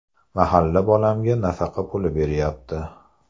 Mahalla bolamga nafaqa puli beryapti.